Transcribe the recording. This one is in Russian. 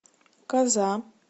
коза